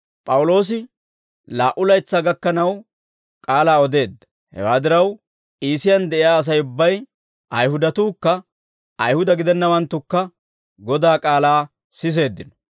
P'awuloosi laa"u laytsaa gakkanaw k'aalaa odeedda; hewaa diraw, Iisiyaan de'iyaa Asay ubbay, Ayihudatuukka Ayihuda gidennawanttukka Godaa k'aalaa siseeddino.